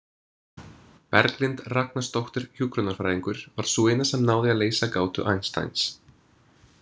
Berglind Ragnarsdóttir hjúkrunarfræðingur var sú eina sem náði að leysa gátu Einsteins.